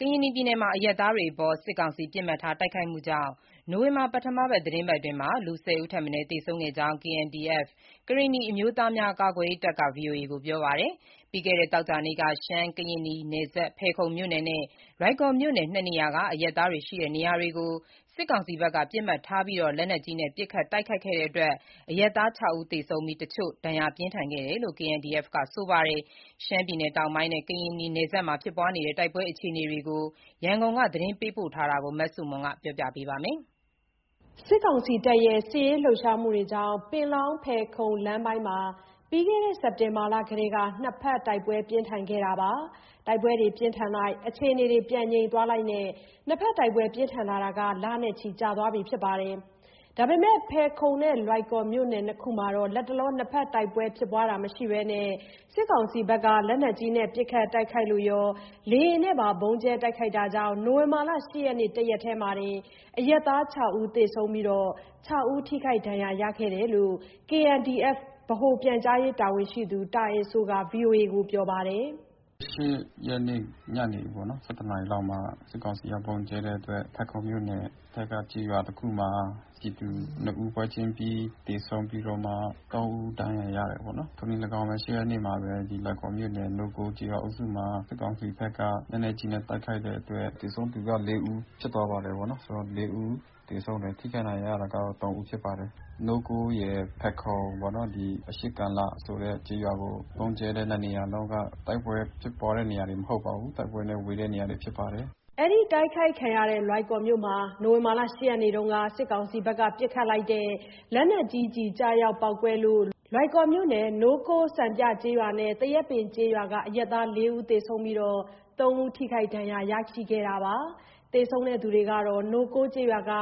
ကရင်နီပြည်နယ်မှာ အရပ်သားတွေအပေါ် စစ်ကောင်စီက ပစ်မှတ်ထားတိုက်ခိုက်မှုကြောင့် နို၀င်ဘာလ ပထမသီတင်းပတ်အတွင်း ၁၀ ဦးထက်မနည်းသေဆုံးခဲ့ကြောင်း KNDF ကရင်နီအမျိုးသားများ ကာကွယ်ရေးတပ်က ဗွီအိုအေကိုပြောပါတယ်။ ပြီးခဲ့တဲ့သောကြာနေ့က ရှမ်း-ကရင်နီနယ်စပ် ဖယ်ခုံမြို့နယ်နဲ့ လွိုင်ကော်မြို့နယ် နှစ်နေရာကအရပ်သားတွေရှိတဲ့နေရာကို စစ်ကောင်စီဘက်က ပစ်မှတ်ထားပြီး လက်နက်ကြီးနဲ့ ပစ်ခတ်တိုက်ခိုက်လို့ အရပ်သား ဦးသေဆုံးခဲ့ပြီး တချို့ ပြင်းထန်ဒဏ်ရာရခဲ့တယ်လို့ KNDF က ဆိုပါတယ်။ ရှမ်းပြည်နယ်တောင်ပိုင်းနဲ့ ကရင်နီနယ်စပ်မှာ ဖြစ်ပွားနေတဲ့ တိုက်ပွဲအခြေအနေ ရန်ကုန်က သတင်းပေးပို့ထားတာကို မဆုမွန်က တင်ပြပေးထားပါတယ်။ စစ်ကောင်စီတပ်ရဲ့ စစ်ရေးလှုပ်ရှားမှုကြောင့် ပင်လောင်း-ဖယ်ခုံလမ်းပိုင်းမှာတော့ ပြီးခဲ့တဲ့ စက်တင်ဘာ လကတည်းကနှစ်ဘက်တိုက်ပွဲပြင်းထန်လိုက် အခြေအနေပြန်ငြိမ်သွားလိုက်နဲ့ တိုက်ပွဲပြင်းထန်လာတာ လနဲ့ချီကြာသွားပါပြီ။ ဒါပေမဲ့ဖယ်ခုံနဲ့ လွိုင်ကော်မြို့နယ်နှစ်ခုမှာတော့ လတ်တလော တိုက်ပွဲမရှိဘဲ စစ်ကောင်စီတပ်က လက်နက်ကြီးနဲ့ပစ်ခတ်တိုက်ခိုက်လို့ရော လေယာဉ်နဲ့ပါ ဗုံးကြဲတိုက်ခိုက်မှုကြောင့် နိုဝင်ဘာလ ၈ ရက် တရက်တည်းမှာတင် အရပ်သား ၆ ဦးသေဆုံးပြီး ၆ ဦးထိခိုက်ဒဏ်ရာရရှိခဲ့တယ်လို့ KNDF ဗဟိုပြန်ကြားရေးတာဝန်ရှိသူ တာအယ်စိုးက ပြောပါတယ်။ “ ၈ ရက်နေ့ ညနေပေါ့နော် ၁၁ နာရီလောက်မှာ စစ်ကောင်စီက ဗုံးကြဲတဲ့အတွက် ဖယ်ခုံမြို့နယ်ဘက်က ကျေးရွာတခုမှာပြည်သူနှစ်ဦး ပွဲချင်းပြီးသေဆုံးပြီးတော့မှ သုံးဦး ဒဏ်ရာရရှိတယ်ပေါ့နော်။ ထိုနည်း လည်းကောင်းပဲ ၈ ရက်နေ့မှာလည်း လွိုင်ကော်မြို့နယ် နိုးကိုးကျေးရွာအုပ်စုမှာ စစ်ကောင်စီဘက်က လက်နက်ကြီးနဲ့ တိုက်ခိုက်တဲ့အတွက် သေဆုံးသူက ၄ ဦးဖြစ်သွားပါတယ်ပေါ့နော်၊ ဆိုတော့ ၄ ဦး သေဆုံးတယ်။ ထိခိုက်ဒဏ်ရာရတာက ၃ ဦးဖြစ်ပါတယ်။ နိုးကိုးရယ်၊ ဖယ်ခုံပေါ့နော်။ အရှေ့ ကာလဆိုတဲ့ကျေးရွာကို ဗုံးကြဲတဲ့နှစ်နေရာလုံးက တိုက်ပွဲဖြစ်တဲ့နေရာတွေ မဟုတ်ပါဘူး၊တိုက်ပွဲနဲ့ ဝေးတဲ့နေရာတွေဖြစ်ပါတယ်။” သေဆုံးသူတွေဟာ နိုးကိုးကျေးရွာက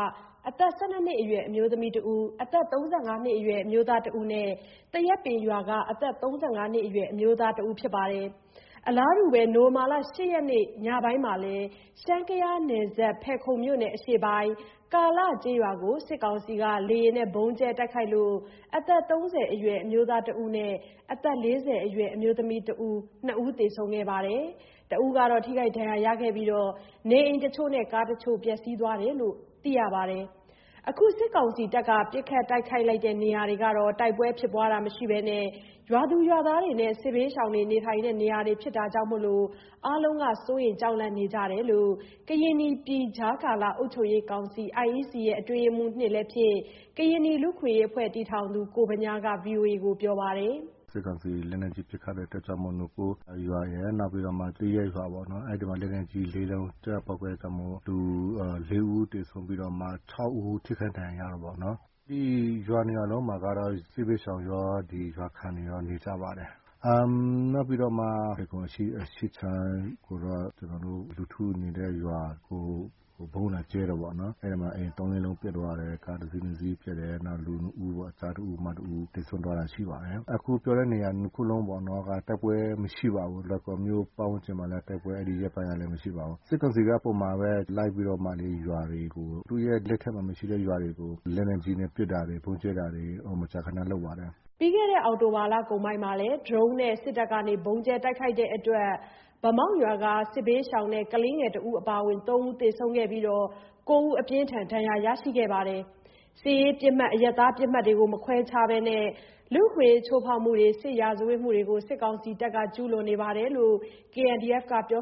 အသက် ၁၂ နှစ်အရွယ်မိန်းကလေးတဦး၊ အသက် ၂၀ ကျော်အရွယ်အမျိုးသမီးတဦး၊ အသက် ၃၅ နှစ်အရွယ် အမျိုးသားတဦးနဲ့ သရက်ပင်ကျေးရွာက အသက် ၃၅ နှစ် အရွယ်အမျိုးသားတဦးတို့ ဖြစ်ကြတယ်လို့ သိရပါတယ်။ အလားတူ နိုဝင်ဘာ ၈ ရက် ညပိုင်းမှာလည်း ရှမ်း-ကယားနယ်စပ် ဖယ်ခုံမြို့နယ် အရှေ့ပိုင်း ကာလကျေးရွာကို စစ်ကောင်စီက လေယာဉ်ဗုံးကြဲမှုကြောင့် အသက် ၃၀ အရွယ်အမျိုးသားတဦးနဲ့ အသက် ၄၀ အရွယ်အမျိုးသမီးတဦးသေဆုံးပြီး ထိခိုက်ဒဏ်ရာရသူတဦးရှိခဲ့သလို နေအိမ်တချို့နဲ့ ကားတချို့ ပျက်စီးသွားတယ်လို့ သိရပါတယ်။ အခု စစ်ကောင်စီတပ်က ပစ်ခတ်တိုက်ခိုက်လိုက်တဲ့နေရာတွေဟာ တိုက်ပွဲမရှိဘဲ ရွာသူရွာသားနဲ့ စစ်ဘေးရှောင်တွေနေထိုင်တဲ့ နေရာတွေဖြစ်တာမို့ အားလုံးက စိုးရိမ်ကြောက်လန့်နေကြတယ်လို့ ကရင်နီပြည်ကြားကာလ အုပ်ချုပ်ရေးကောင်စီ အတွင်းရေးမှူး လည်းဖြစ်၊ ကရင်နီ လူ့အခွင့်အရေးတည်ထောင်သူလည်းဖြစ်တဲ့ ကိုဗညားက ပြောပါတယ်။ “စစ်ကောင်စီ လက်နက်ကြီးပစ်ခတ်လိုက်တဲ့အတွက်ကြောင့်မို့ နိုးကိုးရွာရယ်၊ နောက်ပြီးတော့ သရက်ရွာပေါ့နော်၊ အဲ့ဒီမှာ လက်နက်ကြီးလေးလုံး ကျရောက်ပေါက်ကွဲအတွက်ကြောင့်မို့ လူ လေးဦး သေဆုံးပြီးတော့မှ ၆ ဦးထိခိုက်ဒဏ်ရာရတယ်ပေါ့နော်။ ဒီရွာနှစ်ရွာလုံးက စစ်ဘေးရှောင်ရော ရွာခံတွေရော နေကြပါတယ်။ နောက်ပြီးတော့မှ ဖယ်ခုံအရှေ့ခြမ်းကိုတော့ ကျနော်တို့ လူထုနေတဲ့ရွာကို ဗုံးလာကြဲတာပေါ့နော်။ အဲ့ဒီမှာ အိမ် ၃၊ ၄ လုံးပျက်စီးသွားတယ်။ ကားတစီး၊ နှစ်စီးပျက်တယ်။ နောက် လူနှစ်ဦးပေါ့။ ကျားတဦး၊ မတဦးသေဆုံးသွားတာရှိပါတယ်။ အခုပြောတဲ့နေရာ နှစ်ခုလုံးပေါ့နော်တိုက်ပွဲမရှိပါဘူး။ လွိုင်ကော်မြို့ပတ်ဝန်းကျင်မှာလည်း တိုက်ပွဲ။ အဲ့ဒီရက်ပိုင်းလည်း မရှိပါဘူး။ စစ်ကောင်စီက ပုံမှန်ပဲလိုက်ပြီးတော့မှ ရွာတွေကို သူ့ရဲ့ လက်ထဲမှာမရှိတဲ့ ရွာတွေကို လက်နက်ကြီး ပစ်တာတွေ ဗုံးကြဲတာတွေ မကြာခဏလုပ်ပါတယ်။” ပြီးခဲ့တဲ့ အောက်တိုဘာ လကုန်ပိုင်းမှာလည်း ဒရုန်းနဲ့ စစ်တပ်ဗုံးကြဲလို့ ဗန်းမောက် စစ်ဘေးရှောင်တဲ့ ကလေးငယ်တဦးအပါအဝင်သုံးဦးသေဆုံးခဲ့ပြီး ၉ ဦးက ပြင်းထန်ဒဏ်ရာရရှိခဲ့ပါတယ်။ စစ်ရေးပစ်မှတ် အရပ်သားပစ်မှတ်မခွဲခြားဘဲ လူ့အခွင့်အရေးချိုးဖောက်မှုတွေ စစ်ရာဇဝတ်မှုတွေ စစ်ကောင်စီတပ်က ဆက်လက်ကျူးလွန်နေတယ်လို့ KNDF က ပြော